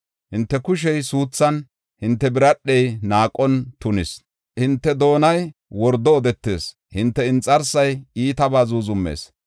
Hinte kushey suuthan, hinte biradhey naaqon tunis; hinte doonay wordo odetees; hinte inxarsay iitaba zuuzumees.